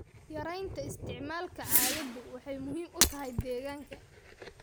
Yaraynta isticmaalka caagadu waxay muhiim u tahay deegaanka.